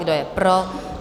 Kdo je pro?